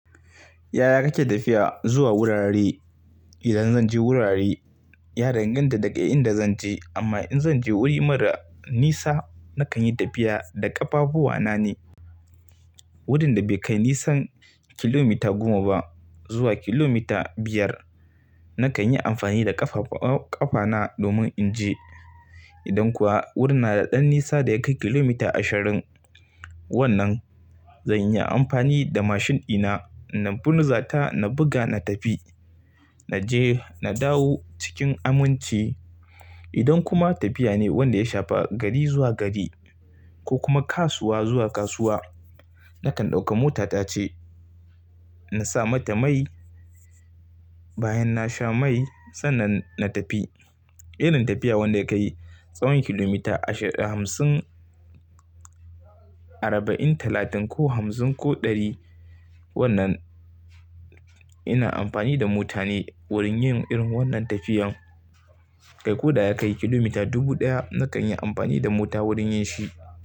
Yaya kake tafiya zuwa wurare? Idan zan je wurare, ya danganta da ga inda zan je. Amma in zan je wuri mara nisa, nakan yi tafiya da ƙafafuwa na ne. Wurin da bai kai nisan kilomita goma ba zuwa kilomita biyar, nakan yi amfani da ƙafa-ƙafana domin in je. Idan kuwa wurin na da ɗan nisa da ya kai kilomita ashirin, wannan zan yi amfani da mashin ɗina. Na bunzata, na buga na tafi, na je na dawo cikin amunci. Idan kuma tafiya ne wanda ya shafa gari zuwa gari, ko kuma kasuwa zuwa kasuwa, nakan ɗauƙa mota ta ce. Na sa mata mai, bayan na sha mai sannan na tafi. Irin tafiya wanda yakai tsawon kilomita ashirin, hamsin, arba'in, talatin ko hamsin ko ɗari. Wannan, ina amfani da mota ne wurin yin irin wannan tafiyan. Kai ko da ya kai kilomita dubu ɗaya, nakan yi amfani da mota wurin yin shi.